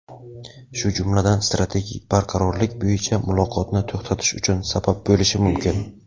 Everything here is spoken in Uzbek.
shu jumladan strategik barqarorlik bo‘yicha muloqotni to‘xtatish uchun sabab bo‘lishi mumkin.